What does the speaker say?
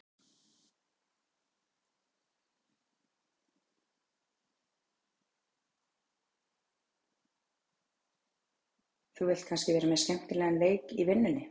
Þú vilt kannski vera með skemmtilegan leik í vinnunni?